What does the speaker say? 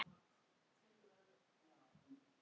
Í blæ lafir seglið bjarta.